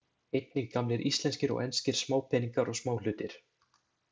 Einnig gamlir íslenskir og enskir smápeningar og smáhlutir.